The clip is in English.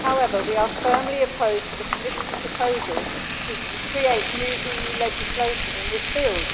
However, we are firmly opposed to the Commission's proposal to create new EU legislation in this field.